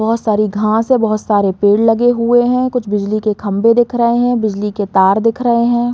बहोत सारी घांस है बहोत सारे पेड़ लगे हुए हैं। कुछ बिजली के खम्बे दिख रहे हैं। बिजली के तार दिख रहे हैं।